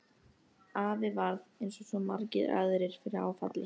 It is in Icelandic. Afi varð eins og svo margir aðrir fyrir áfalli.